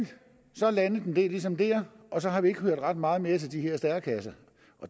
så landede den ligesom der og så har vi ikke hørt ret meget mere til de her stærekasser